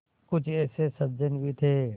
कुछ ऐसे सज्जन भी थे